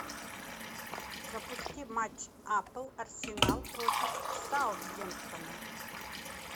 запусти матч апл арсенал против саутгемптона